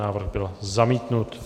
Návrh byl zamítnut.